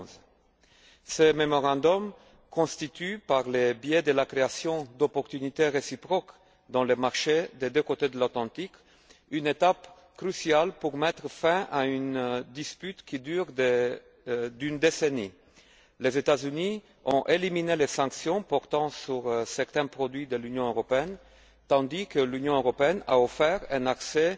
2011. Ces mémorandums constituent, par le biais de la création d'opportunités réciproques dans le marché des deux côtés de l'Atlantique, une étape cruciale pour mettre fin à une dispute qui dure depuis une décennie. Les États Unis ont éliminé les sanctions portant sur certains produits de l'Union européenne tandis que l'Union européenne a offert un accès